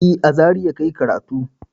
E, a Zariya ka yi karatu.